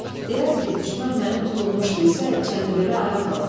Deyərdi ki, düşmən məni tutulmuş bilsə, Çənlibelə ayaq alar.